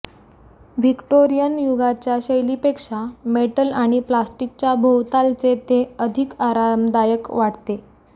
Victorian युगाच्या शैलीपेक्षा metal आणि प्लॅस्टिकच्या भोवतालचे ते अधिक आरामदायक वाटते